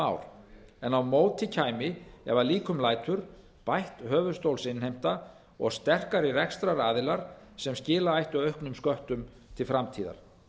ár en á móti kæmi ef að líkum lætur bætt höfuðstólsinnheimta og sterkari rekstraraðilar sem skila ættu auknum sköttum til framtíðar